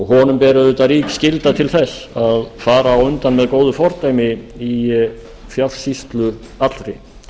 honum ber auðvitað rík skylda til þess að fara á undan með góðu fordæmi í fjársýslu allri